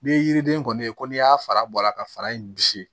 Ni ye yiriden kɔni ye ko n'i y'a fara bɔ a la ka fara in bisi